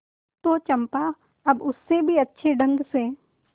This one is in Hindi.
तो चंपा अब उससे भी अच्छे ढंग से